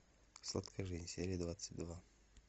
сладкая жизнь серия двадцать два